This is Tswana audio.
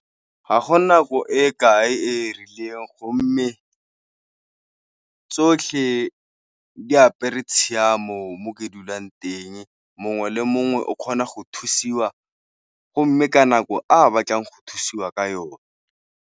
Ga go nako e kae e e rileng go mme tsotlhe diapere tshiamo mo ke dulang teng, mongwe le mongwe o kgona go thusiwa go mme ka nako a batlang go thusiwa ka yone.